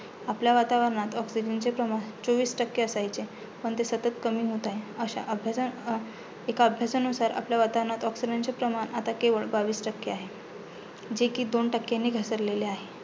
आपल्या वातावरणात oxygen चे प्रमाण चोवीस टक्के असायचे. पण ते सतत कमी होत आहे. अशा अभ्या एका अभ्यासानुसार आपल्या oxygen चे प्रमाण केवळ बावीस टक्के आहे, जे कि दोन टक्क्यांनी घसरलेले आहे.